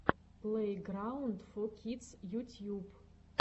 плейграунд фо кидс ютьюб